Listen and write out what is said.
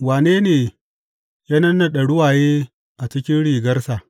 Wane ne ya nannaɗe ruwaye a cikin rigarsa?